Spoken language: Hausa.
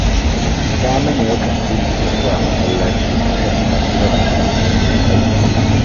Saminu yakan fifita zuwa masallaci a kan yin hira da abokan aikinsa